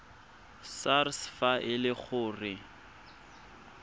sars fa e le gore